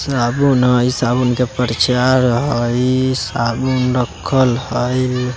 साबुन हई साबुन का परचार हई साबुन रखल हई।